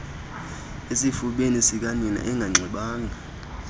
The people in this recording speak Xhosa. esifubeni sikanina enganxibanga